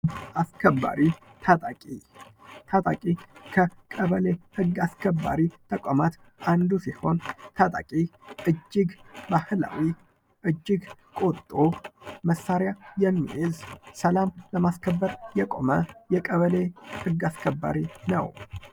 ህግ አስከባሪ ታጣቂ ታጣቂ ከቀበሌ ህግ አስከባሪ ተቋማት አንዱ ሲሆን ፤ ታጣቂ እጅግ ባህላዊ እጅግ ቆጡ መሳሪያ የሚይዝ ሰላም ለማስከበር የቆመ የቀበሌ ሕግ አስከባሪ ነው።